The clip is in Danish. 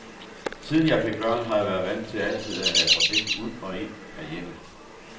Siden jeg fik børn, har jeg været vant til altid at have trafik ud og ind af hjemmet.